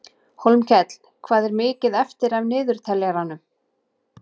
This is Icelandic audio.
Hólmkell, hvað er mikið eftir af niðurteljaranum?